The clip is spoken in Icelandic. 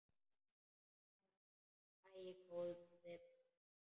Hún: Æi, góði besti.!